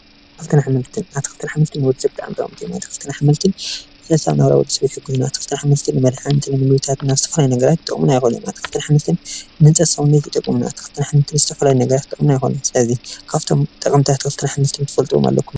ኣትክልትን ኣሕምልትን ኣትክልትን ኣሕምልትን ንወዲሰብ ብጣዕሚ ጠቀምቲ እዮም ኣትክልትን ኣሕምልትን ዕልታዊ ናብራ ወዲሰብ ይሕግዙና ኣትክልትን ኣሕምልትን ንመድሓኒትን ንጉልበት ወሃብትን ይጠቅሙና ኣትክልትን ኣሕምልትን ናብ ዝተፈላለዩ ነገራት ይጥቅሙና ኣትክልትን ኣሕምልትን ንህንጸት ሰዉነት ይጠቅሙ ኣትክልትን ኣሕምልትን ንዝተፈላለዩ ነገራት ክጠቅሙና ይክእሉ ስለዚ ካብቶም ጠቀምቲ ኣትክልትን ኣሕምልትን ትፈልጥዎ ኣለኩም ዶ ?